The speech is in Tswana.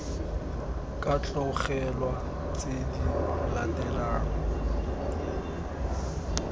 ka tlogelwa tse di latelang